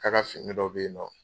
K'a ka fini dɔ bɛ ye nɔ.